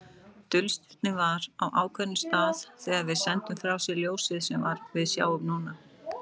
Dulstirnið var á ákveðnum stað þegar það sendi frá sér ljósið sem við sjáum núna.